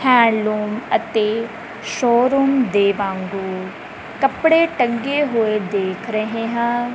Hand loom ਅਤੇ showroom ਦੇ ਵਾਂਗੂੰ ਕੱਪੜੇ ਟੰਗੇ ਹੋਏ ਦੇਖ ਰਹੇ ਹਾਂ।